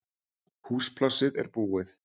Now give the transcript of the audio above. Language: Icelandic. Húsplássið er búið